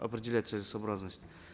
определять целесообразность